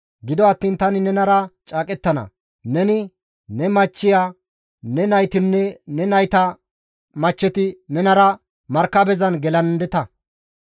Gido attiin tani nenara caaqettana. Neni, ne machchiya, ne naytinne ne nayta machcheti nenara markabezan gelandeta.